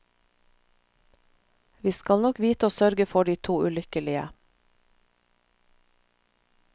Vi skal nok vite å sørge for de to ulykkelige.